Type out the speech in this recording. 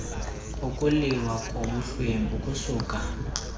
ukuliwa kobuhlwempu kusuka